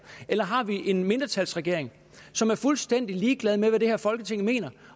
eller har vi en mindretalsregering som er fuldstændig ligeglad med hvad det her folketing mener